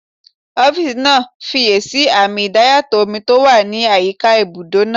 Ọ́físà náà fiyèsí àmì idayàtọ̀ omi tó wà ní àyíká ibùdó náà